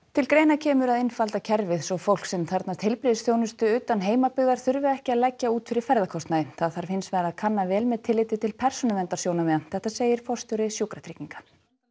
til greina kemur að einfalda kerfið svo fólk sem þarfnast heilbrigðisþjónustu utan heimabyggðar þurfi ekki að leggja út fyrir ferðakostnaði það þarf hins vegar að kanna vel með tilliti til persónuverndarsjónarmiða segir forstjóri Sjúkratrygginga